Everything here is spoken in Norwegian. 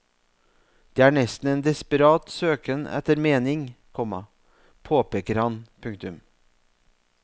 Det er nesten en desperat søken etter mening, komma påpeker han. punktum